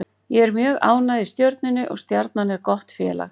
Ég er mjög ánægð í Stjörnunni og Stjarnan er gott félag.